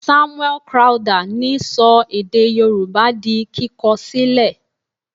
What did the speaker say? Samuel Crowther ni sọ èdè yorùbá di kíkọ sílẹ̀.